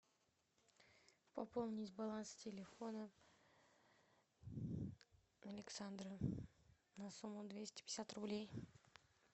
пополнить баланс телефона александра на сумму двести пятьдесят рублей